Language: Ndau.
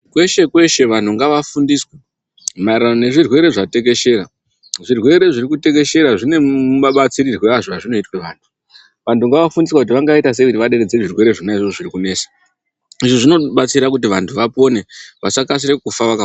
Kweshe kweshe vanhu ngavafundiswe, maererano nezvirwere zvatekeshera. Zvirwere zviri kutekeshera zvine mabatsirirwe azvo azvinoitwe vanhu. Vantu ngavafundiswe kuti vangaite sei kuti vaderedze zvirwere zvona izvozvo zviri kunesa. Izvi zvinobatsira kuti vantu vapone vasakasire kufa vaka.